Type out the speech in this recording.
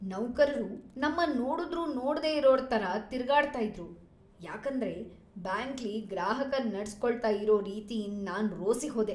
ನೌಕರರು ನಮ್ಮನ್ ನೋಡುದ್ರು ನೋಡ್ದೆ ಇರೋರ್ ತರ ತಿರ್ಗಾಡ್ತ ಇದ್ರು. ಯಾಕಂದ್ರೆ ಬ್ಯಾಂಕ್ಲಿ ಗ್ರಾಹಕರನ್ ನಡ್ಸ್ ಕೊಳ್ತಾ ಇರೋ ರೀತಿಯಿಂದ್ ನಾನ್ ರೋಸಿ ಹೋದೆ.